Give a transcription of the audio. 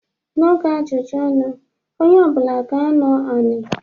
N'oge ajụjụ ọnụ onye ọbụla ga-anọ anị.